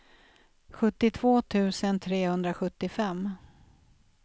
sjuttiotvå tusen trehundrasjuttiofem